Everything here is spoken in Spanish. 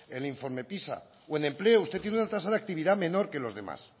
el informe pisa o en empleo usted tiene una tasa de actividad menor que los demás